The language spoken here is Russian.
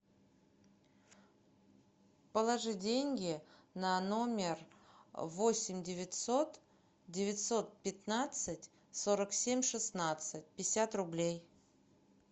положи деньги на номер восемь девятьсот девятьсот пятнадцать сорок семь шестнадцать пятьдесят рублей